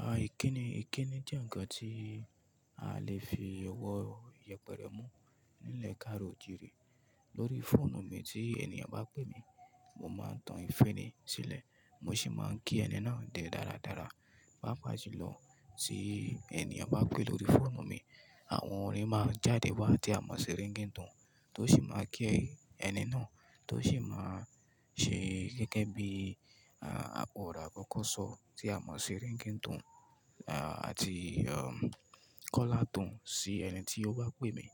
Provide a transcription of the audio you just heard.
À, ìkíni, ìkíni jẹ́ ǹkan tí a lè fi ọwọ́ yẹpẹrẹ mú nílẹ̀ káàro òjiri. Lórí fóònù mi tí ènìyàn bá pè mi, mo máa tan ìféni sílẹ̀ mo sì máa ń kí ẹni náà dé dáradára. Pápàjulọ, tí ènìyàn bá pè lórí fóònù mi àwọn orin máa jáde wá tí a mọ̀ sí ringtone tó sì máa kí ẹni náà tó sì máa ṣe gẹ́gẹ́ bí, à, àpọ̀ ọ̀rọ̀ àkọ́kọ́ sọ tí a mọ̀ sí ringtone, à, àti, ehm, call out tune sí ẹni tí ó bá pè mi.